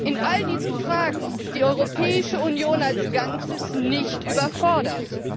In all diesen Fragen ist die Europäische Union als Ganzes nicht überfordert.